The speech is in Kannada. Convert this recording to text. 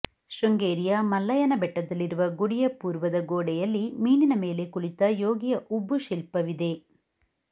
ಶೃಂಗೇರಿಯ ಮಲ್ಲಯ್ಯನ ಬೆಟ್ಟದಲ್ಲಿರುವ ಗುಡಿಯ ಪೂರ್ವದ ಗೋಡೆಯಲ್ಲಿ ಮೀನಿನ ಮೇಲೆ ಕುಳಿತ ಯೋಗಿಯ ಉಬ್ಬುಶಿಲ್ಪವಿದೆ